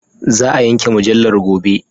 Za a yanke mujallar gobe.